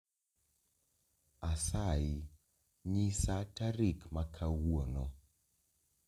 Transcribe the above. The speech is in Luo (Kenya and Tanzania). Asayi nyisa tarik makawuono